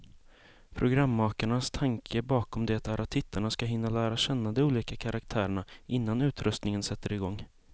Programmakarnas tanke bakom det är att tittarna ska hinna lära känna de olika karaktärerna, innan utröstningen sätter igång.